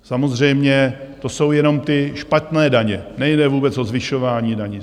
Samozřejmě to jsou jenom ty špatné daně, nejde vůbec o zvyšování daní.